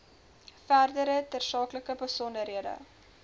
verdere tersaaklike besonderhede